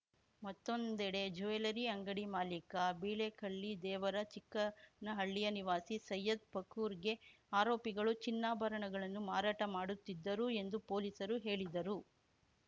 ಮತ್ತೊಂದೆಡೆ ಜ್ಯುವೆಲ್ಲರಿ ಅಂಗಡಿ ಮಾಲಿಕ ಬಿಳೇಕಳ್ಳಿ ದೇವರ ಚಿಕ್ಕನಹಳ್ಳಿಯ ನಿವಾಸಿ ಸೈಯದ್‌ ಫಾರೂಕ್‌ಗೆ ಆರೋಪಿಗಳು ಚಿನ್ನಾಭರಣಗಳನ್ನು ಮಾರಾಟ ಮಾಡುತ್ತಿದ್ದರು ಎಂದು ಪೊಲೀಸರು ಹೇಳಿದರು